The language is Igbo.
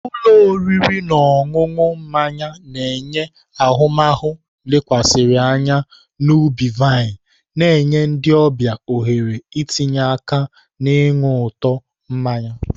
Ụlọ oriri na ọṅụṅụ mmanya na-enye ahụmahụ lekwasịrị anya n'ubi-vine, na-enye ndị ọbịa ohere itinye aka na-iñu ụtọ mmanya.